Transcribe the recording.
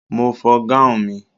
Mo fọ gáun mi.